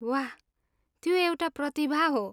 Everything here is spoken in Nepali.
वाह, त्यो एउटा प्रतिभा हो।